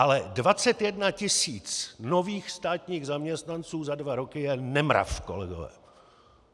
Ale 21 tisíc nových státních zaměstnanců za dva roky je nemrav, kolegové.